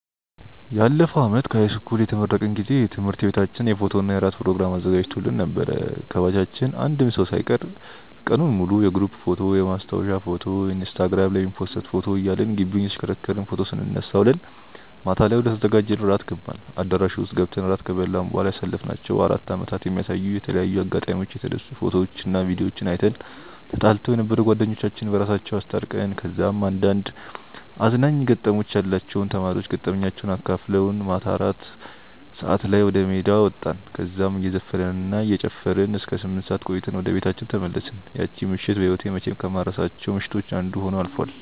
ያለፈው አመት ከሀይስኩል የተመረቅን ጊዜ ትምህርት ቤታችን የፎቶና የራት ፕሮግራም አዘጋጅቶልን ነበር። ከባቻችን አንድም ሰው ሳይቀር ቀኑን ሙሉ የግሩፕ ፎቶ፣ የማስታወሻ ፎቶ፣ ኢንስታግራም ላይ የሚፖሰት ፎቶ እያልን ግቢውን እየተሽከረከርን ፎቶ ስንነሳ ውለን ማታ ላይ ወደተዘጋጀልን ራት ገባን። አዳራሹ ውስጥ ገብተን ራት ከበላን በኋላ ያሳለፍናቸውን አራት አመታት የሚያሳዩ በተለያዩ አጋጣሚዎች የተነሱ ፎቶዎችና ቪድዮዎችን አይተን፣ ተጣልተው የነበሩ ጓደኞቻችን በራሳቸው አስታርቀን፣ ከዛም አንዳንድ አዝናኝ ገጠመኞች ያሏቸው ተማሪዎች ገጠመኛቸውን አካፍለውን ማታ አራት ሰዓት ላይ ወደሜዳ ወጣን። እዛም እየዘፈንን እና እየጨፈርን እስከ ስምንት ሰዓት ቆይተን ወደየቤታችን ተመለስን። ያቺ ምሽት በህይወቴ መቼም ከማልረሳቸው ምሽቶች አንዱ ሆኖ አልፏል።